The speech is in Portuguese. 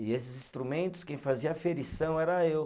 E esses instrumentos, quem fazia aferição era eu.